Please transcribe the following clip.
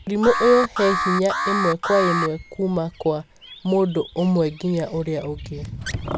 Mũrimũ ũyũ he hinya ĩmwe kwa ĩmwe kuma kwa mũndũ umwe ginya ũrĩa ũngĩ.